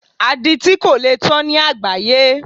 Aditi kò lè tán ní àgbááyé